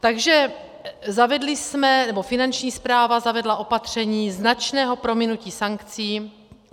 Takže zavedli jsme, nebo Finanční správa zavedla opatření značného prominutí sankcí.